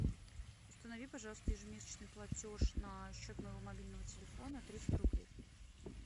установи пожалуйста ежемесячный платеж на счет моего мобильного телефона триста рублей